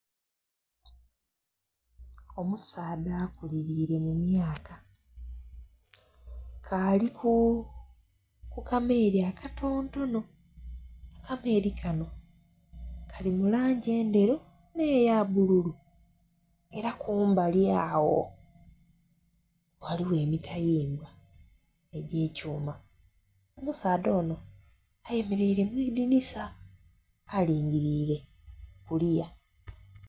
Omusaadha akuliliire mu myaka, ke ali ku kameeri akatontono, akameeri kano kali mu langi endheru n'eya bbululu, era kumbali agho ghaligho emitayimbwa egy'ekyuma. Omusaadha ono ayemeleire mu idinisa alingiliire kuliya.